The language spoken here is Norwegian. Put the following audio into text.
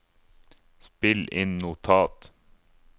spill inn notat